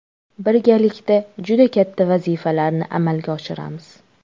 Birgalikda juda katta vazifalarni amalga oshiramiz.